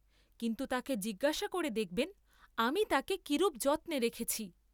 কিন্তু তাকে জিজ্ঞাসা করে দেখবেন আমি তাকে কিরূপ যত্নে রেখেছি।